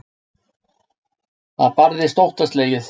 Það barðist óttaslegið.